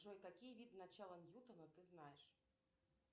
джой какие виды начала ньютона ты знаешь